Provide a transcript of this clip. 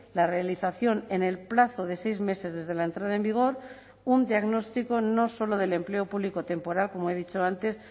la realización en el plazo de seis meses desde la entrada en vigor un diagnóstico no solo del empleo público temporal como he dicho antes